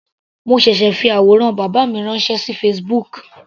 Mo ṣẹ̀ṣẹ̀ fi àwòrán bàbá mi ránṣẹ́ sí Facebook.